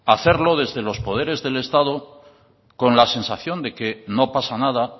hacerlo desde los poderes del estado con la sensación de que no pasa nada